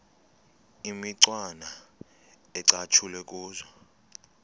imicwana ecatshulwe kuzo